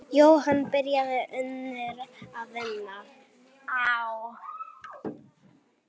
Jóhann byrjaði ungur að vinna.